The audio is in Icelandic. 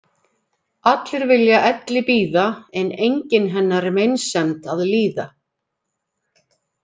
Allir vilja elli bíða en enginn hennar meinsemd að líða.